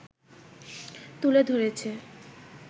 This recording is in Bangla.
তুলে ধরেছে